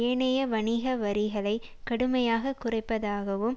ஏனைய வணிக வரிகளை கடுமையாக குறைப்பதாகவும்